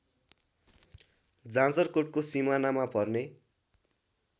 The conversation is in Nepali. जाजरकोटको सिमानामा पर्ने